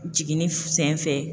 Jiginni senfɛ